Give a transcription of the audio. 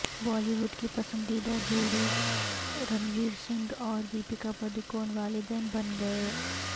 بالی would کی پسندیدہ جوڑی رنویر سنگھ اور دپیکا پڈوکون والدین بن گئے